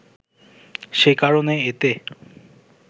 সে কারণে এতে